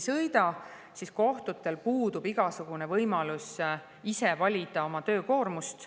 Aga kohtutel puudub igasugune võimalus ise valida oma töökoormust.